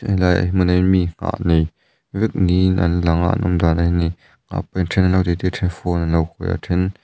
helai hmunah hian mi nghah nei vek niin an lang a an awm dan en hian then an lo ti ti a then phone an lo khawih a a then --